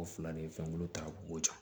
O fila de ye fɛn kolo ta u b'o di